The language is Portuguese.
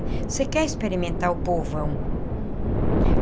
Você quer experimentar o povão. Uhum.